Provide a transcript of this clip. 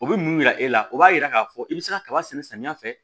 O bɛ mun yira e la o b'a yira k'a fɔ i bɛ se ka kaba sɛnɛ samiya fɛ